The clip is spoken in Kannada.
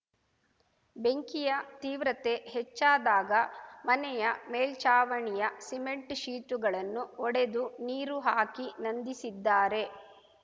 ಬೆಂಕಿಯ ತೀವ್ರತೆ ಹೆಚ್ಚಾದಾಗ ಮನೆಯ ಮೇಲ್ಚಾವಣಿಯ ಸಿಮೆಂಟ್‌ ಶೀಟ್‌ಗಳನ್ನು ಒಡೆದು ನೀರು ಹಾಕಿ ನಂದಿಸಿದ್ದಾರೆ